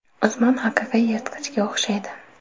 Usmon haqiqiy yirtqichga o‘xshaydi.